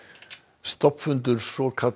stofnfundur svokallaðs